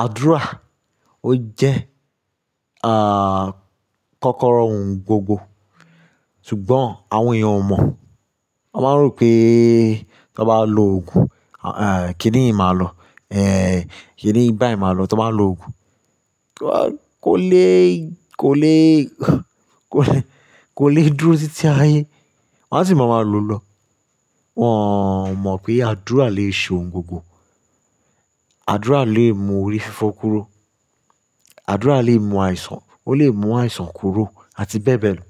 Àdúrà ó jẹ́, kọ́kọ́rọ́ ohun gbogbo. Sùgbọ́n àwọn èèyàn ò mọ̀. Wọ́n máa ń rò pé tó n bá lo òogùn, kíni yi màá lọ. Kíni bá yi máa lọ tó n bá lo òogùn. Kí wọ́n, kò le, kò le, kò le, kò le dúró títí ayé. Wọn á sì máa ma lọ lọ. Wọn ò mọ̀ pé àdúrà lè ṣe ohun gbogbo. Àdúrà lè mú orí fífọ́ kúrò. Àdúrà lè mú àìsàn, ó lè mú àìsàn kúrò àti bẹ́ẹ̀ bẹ́ẹ̀ lọ.